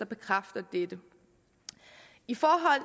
bekræfter dette i forhold